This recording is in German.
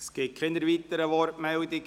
Es gibt keine weiteren Wortmeldungen.